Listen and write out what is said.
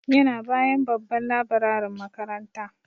Yana bayan babban laburarin makaranta.